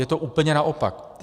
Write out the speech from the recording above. Je to úplně naopak.